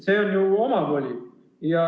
See on ju omavoli.